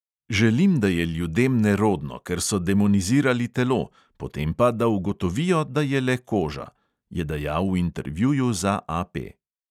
"Želim, da je ljudem nerodno, ker so demonizirali telo, potem pa, da ugotovijo, da je le koža," je dejal v intervjuju za AP .